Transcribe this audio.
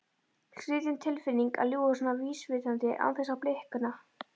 Skrýtin tilfinning að ljúga svona vísvitandi án þess að blikna.